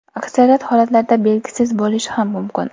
Aksariyat holatlarda belgisiz bo‘lishi ham mumkin.